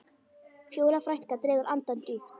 Fjóla frænka dregur andann djúpt.